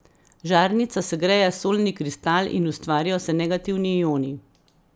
Žarnica segreje solni kristal in ustvarijo se negativni ioni.